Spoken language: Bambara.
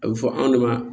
A bɛ fɔ anw de ma